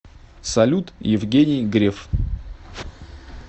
салют евгений греф